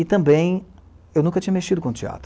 E também eu nunca tinha mexido com teatro.